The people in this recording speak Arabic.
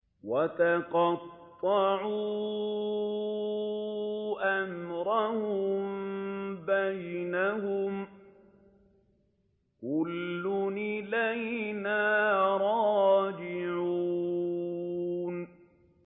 وَتَقَطَّعُوا أَمْرَهُم بَيْنَهُمْ ۖ كُلٌّ إِلَيْنَا رَاجِعُونَ